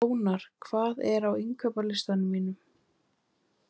Ónar, hvað er á innkaupalistanum mínum?